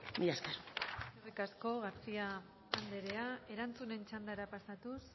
mila esker eskerrik asko garcía anderea erantzunen txandara pasatuz